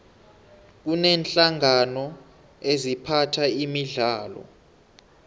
kuneenhlangano eziphatha imidlalo